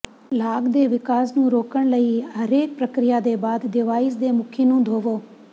ਲਾਗ ਦੇ ਵਿਕਾਸ ਨੂੰ ਰੋਕਣ ਲਈ ਹਰੇਕ ਪ੍ਰਕਿਰਿਆ ਦੇ ਬਾਅਦ ਡਿਵਾਈਸ ਦੇ ਮੁਖੀ ਨੂੰ ਧੋਵੋ